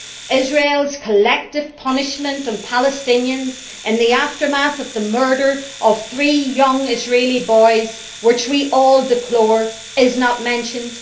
Israel's collective punishment of Palestinians in the aftermath of the murder of three young Israeli boys, which we all deplore, is not mentioned.